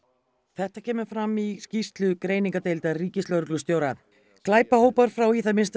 þetta kemur fram í skýrslu greiningardeildar ríkislögreglustjóra glæpahópar frá í það minnsta